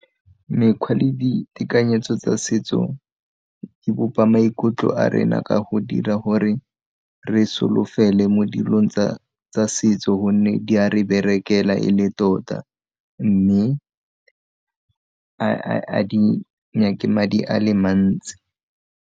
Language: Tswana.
Mekgwa le ditekanyetso tsa setso dibopa maikutlo a rena ka go dira gore re solofele mo dilong tsa setso gonne di a re berekela e le tota mme ga di nyake madi a le mantsi.